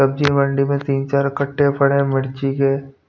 सब्जी मंडी में तीन चार कट्टे पड़े है मिर्ची के.